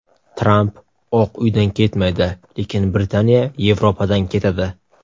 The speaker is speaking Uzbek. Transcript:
Tramp Oq Uydan ketmaydi, lekin Britaniya Yevropadan ketadi.